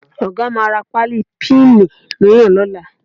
Ọ̀ga máa ra páálí píìnì mìíràn lọ́la